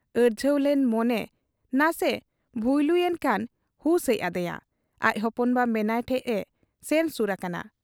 ᱟᱹᱲᱡᱷᱟᱹᱣ ᱞᱮᱱ ᱢᱚᱱᱮ ᱱᱟᱥᱮ ᱵᱷᱩᱭᱞᱩ ᱮᱱᱠᱷᱟᱱ, ᱦᱩᱥ ᱦᱮᱡ ᱟᱫᱮᱭᱟ ᱾ ᱟᱡ ᱦᱚᱯᱚᱱ ᱵᱟ ᱢᱮᱱᱟᱭ ᱴᱷᱮᱫ ᱮ ᱥᱮᱱ ᱥᱩᱨ ᱟᱠᱟᱱᱟ ᱾